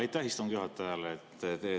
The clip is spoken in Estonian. Aitäh istungi juhatajale!